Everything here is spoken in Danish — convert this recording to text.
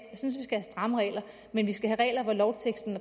jeg stramme regler men vi skal have regler hvor lovteksten